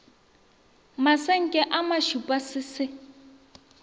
masenke a mašupa se se